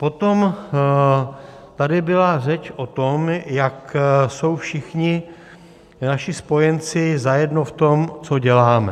Potom tady byla řeč o tom, jak jsou všichni naši spojenci zajedno v tom, co děláme.